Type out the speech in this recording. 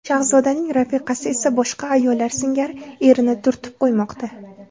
Shahzodaning rafiqasi esa boshqa ayollar singari erini turtib qo‘ymoqda.